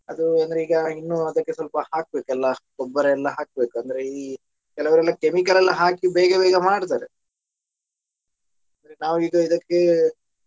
ಅದು ಏನಂದ್ರೆ ಈಗ ಇನ್ನೂ ಅದಕ್ಕೆ ಸ್ವಲ್ಪ ಹಾಕ್ಬೇಕಲ್ಲ ಗೊಬ್ಬರ ಎಲ್ಲಾ ಹಾಕ್ಬೇಕು ಅಂದ್ರೆ ಈ ಕೆಲವ್ರೆಲ್ಲ chemical ಎಲ್ಲ ಹಾಕಿ ಬೇಗ ಬೇಗ ಮಾಡ್ತಾರೆ ನಾವು ಈಗ ಇದಕ್ಕೆ.